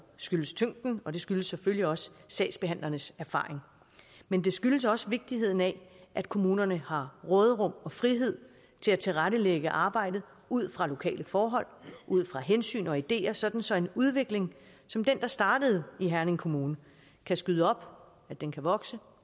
skyldes tyngden og det skyldes selvfølgelig også sagsbehandlernes erfaringer men det skyldes også vigtigheden af at kommunerne har råderum og frihed til at tilrettelægge arbejdet ud fra lokale forhold ud fra hensyn og ideer sådan så en udvikling som den der startede i herning kommune kan skyde op vokse